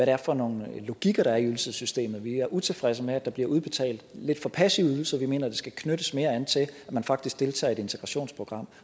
er for nogle logikker der er i ydelsessystemet vi er utilfredse med at der bliver udbetalt lidt for passive ydelser vi mener at det skal knyttes mere an til at man faktisk deltager i et integrationsprogram